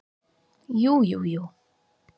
Jú, jú, jú.